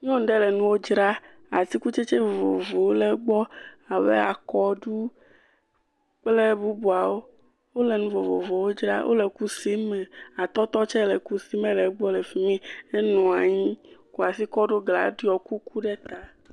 Nyɔnu aɖe nuwo dzram. Atsikutsetse vovovowo le egbɔ abe akɔɖu kple bubuawo. Wole nu vovovowo dram. Wole kusi me. Atɔtɔ tsɛ le kusi me le gbɔ le fi mi. Enɔ anyi kɔ asi kɔ ɖo gla, eɖiɔ kuku ɖe ta.